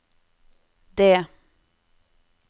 D